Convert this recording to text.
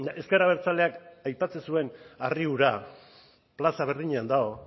ezker abertzaleak aipatzen zuen harri hura plaza berdinean dago